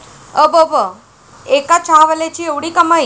अबब, एका चहावाल्याची 'एवढी' कमाई?